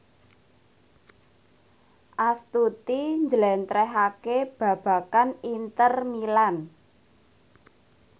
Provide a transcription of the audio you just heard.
Astuti njlentrehake babagan Inter Milan